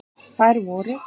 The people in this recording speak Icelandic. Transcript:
Þær voru: